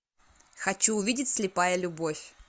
хочу увидеть слепая любовь